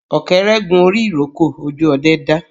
Ọ̀kẹ́rẹ́ gun orí ìrókò, ojú ọdẹ dá